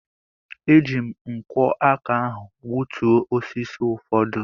E ji m nkwọ aka ahụ gbutuo osisi ụfọdụ.